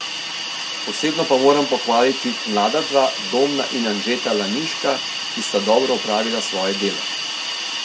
Posebno pa moram pohvaliti mlada dva, Domna in Anžeta Laniška, ki sta dobro opravila svoje delo.